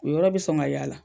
O yɔrɔ be sɔn ŋa y'a la.